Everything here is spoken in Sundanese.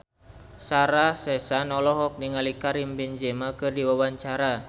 Sarah Sechan olohok ningali Karim Benzema keur diwawancara